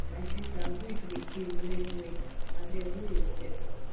my sister grief dey pain well well abeg hol yoursef